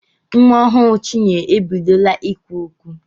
Nwa ọhụrụ Chinyere ebidobeghi ikwu okwu.